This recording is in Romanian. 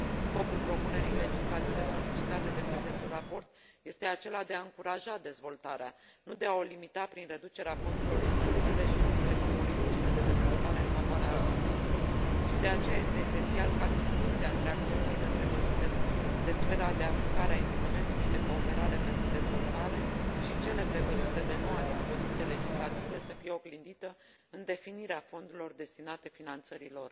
Scopul propunerii legislative solicitate de prezentul raport este acela de a încuraja dezvoltarea, nu de a o limita prin reducerea fondurilor disponibile pentru politicile de dezvoltare în favoarea altor măsuri și, de aceea, este esențial ca distincția dintre acțiunile prevăzute de sfera de aplicare a instrumentului de cooperare pentru dezvoltare și cele prevăzute de noua dispoziție legislativă să fie oglindită în definirea fondurilor destinate finanțării lor.